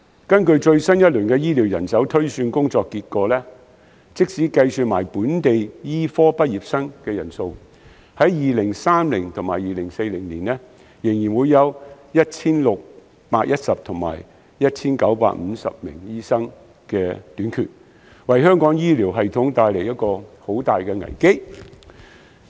根據最新一輪的醫療人手推算工作結果，即使計及本地醫科畢業生的人數，香港在2030年和2040年仍會分別欠缺 1,610 名和 1,950 名醫生，為香港醫療系統帶來重大危機。